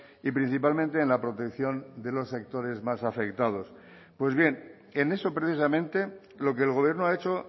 y principalmente en la protección de los sectores más afectados pues bien en eso precisamente lo que el gobierno ha hecho